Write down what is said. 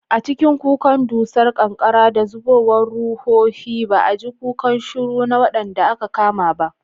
A cikin kukan dusar ƙanƙara da zubowar ruhohi, ba a ji kukan shuru na waɗanda aka kama ba.